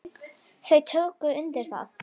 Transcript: Þau tóku undir það.